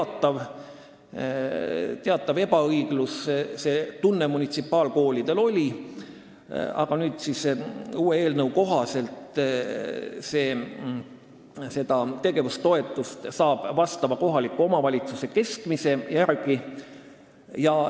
Jah, teatav ebaõigluse tunne munitsipaalkoolidel oli, aga nüüd saab eelnõu kohaselt tegevustoetust vastava kohaliku omavalitsuse keskmise järgi.